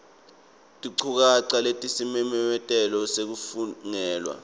tinchukaca talesimemetelo lesafungelwa